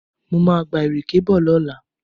Mo máa gba ìrèké bọ̀ lọ́la